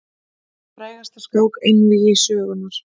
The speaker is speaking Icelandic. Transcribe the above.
Frægasta skák einvígi sögunnar.